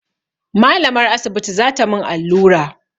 Malamar asibiti za ta mun allura